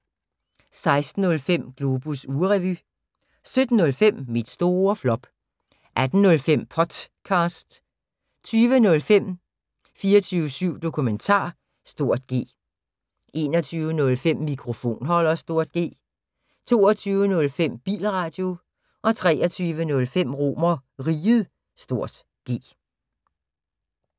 16:05: Globus ugerevy 17:05: Mit store flop 18:05: Potcast 20:05: 24syv Dokumentar (G) 21:05: Mikrofonholder (G) 22:05: Bilradio 23:05: RomerRiget (G)